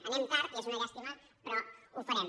anem tard i és una llàstima però ho farem